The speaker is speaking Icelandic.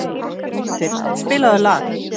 Kvasir, spilaðu lag.